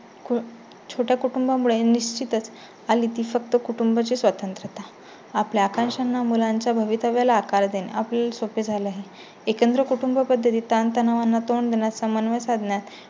छोट्या कुटुंबा मुळे निश्चितच आली ती फक्त कुटुंबा ची स्वतंत्रता. आपल्या आकांक्षांना मुलांच्या भवितव्याला आकार देणं ही सोपी झाली आहे. एकत्र कुटुंबपद्धती ताणतणावांना तोंड देण्या समन्वय, साधण्यात